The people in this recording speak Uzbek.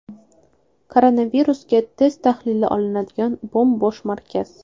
Koronavirusga test tahlili olinadigan bo‘m-bo‘sh markaz.